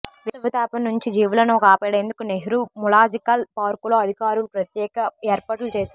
వేసవి తాపం నుంచి జీవులను కాపాడేందుకు నెహ్రూ జూలాజికల్ పార్కులో అధికారులు ప్రత్యేక ఏర్పాట్లు చేశారు